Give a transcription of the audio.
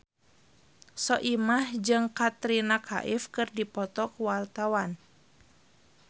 Soimah jeung Katrina Kaif keur dipoto ku wartawan